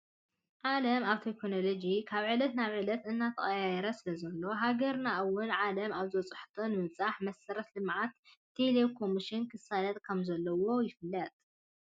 ዓለም ኣብ ቴክኖሎዲ ካብ ዕለት ናብ ዕለት እናተቀያየረ ስለዘሎ ሃገርና እውን ዓለም ኣብ ዝበዕሓቶ ንምብፃሕ መሰረተ ልምዓት ቴሌ ኮሚኒኬሽን ክሳለጥ ከም ዘለዎ ይፍለጥ።